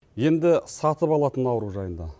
енді сатып алатын ауру жайында